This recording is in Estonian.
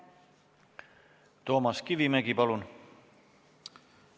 Toomas Kivimägi, palun!